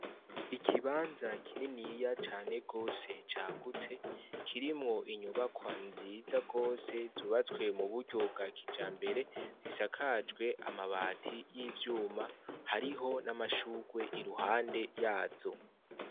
Ikibanza kininya cane gose cagutse, kirimwo inyubakwa nziza gose zubatswe mu buryo bwa kijambere, risakajwe amabati y'ivyuma, hariho n'amashugwe iruhande yazo.